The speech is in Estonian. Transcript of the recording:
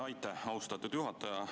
Aitäh, austatud juhataja!